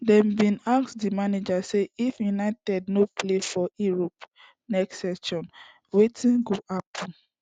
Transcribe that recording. dem bin ask di manager say if united no play for europe next season wetin go happun